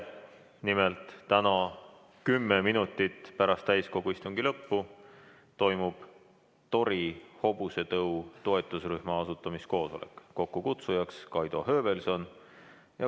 Nimelt, täna 10 minutit pärast täiskogu istungi lõppu toimub tori hobusetõu toetusrühma asutamiskoosolek, kokkukutsujaks Kaido Höövelson.